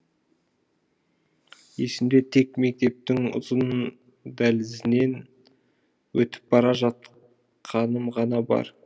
есімде тек мектептің ұзын дәлізінен өтіп бара жатқаным ғана бар